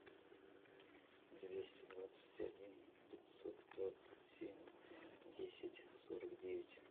двести двадцать один пятьсот двадцать семь десять сорок девять